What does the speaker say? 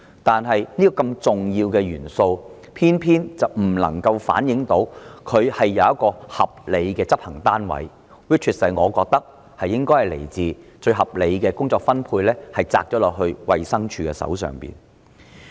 然而，這項如此重要的政策元素卻偏偏沒有一個合理的執行單位加以落實——依我之見，最合理的執行單位莫過於衞生署。